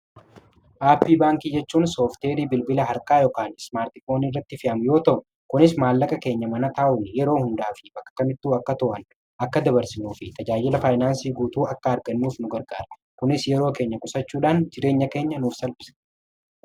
Aappii baankii jechuun soofteerii bilbila harkaa yookaan ismaartifoon irratti fe'aman yoo ta'u kunis maallaqa keenya mana taa'un yeroo hundaa fi bakkakamittuu akka to'an akka dabarsinuu fi tajaajila faayinaansii guutuu akka argannuuf nu gargaara. Kunis yeroo keenya qusachuudhaan jireenya keenya nuuf salphisa.